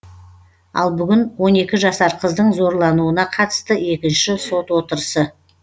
ал бүгін он екі жасар қыздың зорлануына қатысты екінші сот отырысы